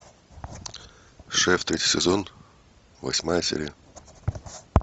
шеф третий сезон восьмая серия